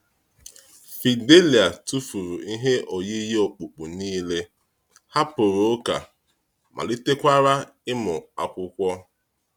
Fidélia tụfuru ihe oyiyi okpukpe niile, hapụrụ ụka, malitekwara ịmụ Akwụkwọ.